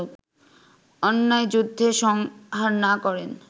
অন্যায়যুদ্ধে সংহার না করেন